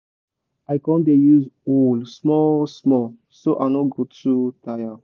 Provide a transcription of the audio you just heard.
i con dey use hoe small small so i no go too tire.